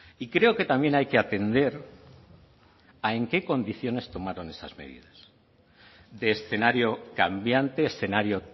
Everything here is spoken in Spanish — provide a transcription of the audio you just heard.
y creo que también hay que atender a en qué condiciones tomaron esas medidas de escenario cambiante escenario